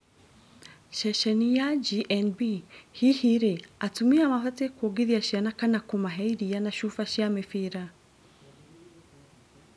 Ceceni ya GNB, hihi rĩ atumia mabatie kwongithia ciana kana kũmahe iria na cuba cia mibira?